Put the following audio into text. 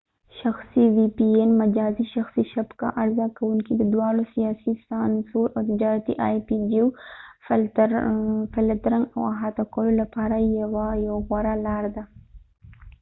شخصي وی پي این مجازي شخصي شبکه عرضه کوونکي د دواړو سیاسي سانسور او تجارتي آی پی جیوفلترنګ د احاطه کولو لپاره یو غوره لار ده